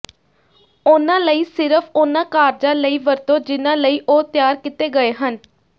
ਉਨ੍ਹਾਂ ਲਈ ਸਿਰਫ ਉਨ੍ਹਾਂ ਕਾਰਜਾਂ ਲਈ ਵਰਤੋ ਜਿਨ੍ਹਾਂ ਲਈ ਉਹ ਤਿਆਰ ਕੀਤੇ ਗਏ ਹਨ